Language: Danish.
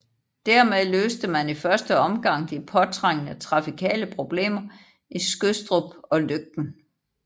Der med løste man i første omgang de påtrængende trafikale problemer i Skødstrup og Løgten